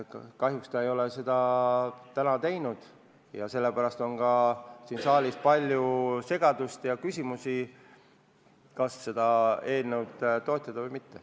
Kahjuks ta ei ole seda teinud ja sellepärast on siin saalis palju segadust ja küsimusi, kas seda eelnõu toetada või mitte.